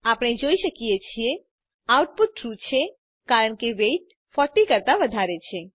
આપણે જોઈ શકીએ છીએ આઉટપુટ ટ્રૂ છે કારણ કે વેઇટ 40 કરતાં વધારે છે